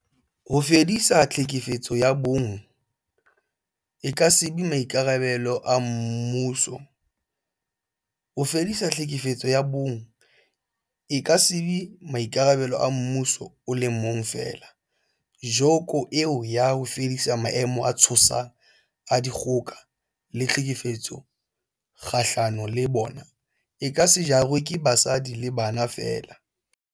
Ho fedisa tlhekefetso ya bong e ka se be maikarabelo a mmuso o le mong feela, joko eo ya ho fedisa maemo a tshosang a dikgoka le tlhekefetso kgahlano le bona, e ka se jarwe ke basadi le bana feela.